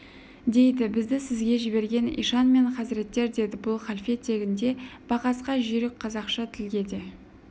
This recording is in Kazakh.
дейді бізді сізге жіберген ишан мен хазіреттер деді бұл халфе тегінде бақасқа жүйрік қазақша тілге де